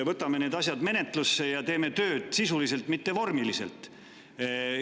Võtame need asjad menetlusse ja teeme tööd sisuliselt, mitte vormiliselt.